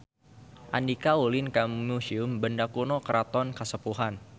Andika ulin ka Museum Benda Kuno Keraton Kasepuhan